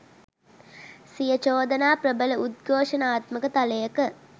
සිය චෝදනා ප්‍රබල උද්ඝෝෂණාත්මක තලයක